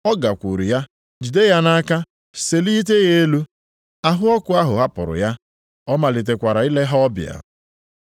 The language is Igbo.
Ọ gakwuru ya, jide ya nʼaka selite ya elu. Ahụ ọkụ ahụ hapụrụ ya. Ọ malitekwara ile ha ọbịa.